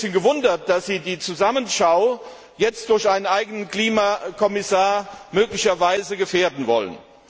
Ich habe mich ein bisschen gewundert, dass Sie diese Zusammenschau jetzt durch einen eigenen Klimakommissar möglicherweise gefährden wollen.